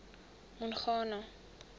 mongane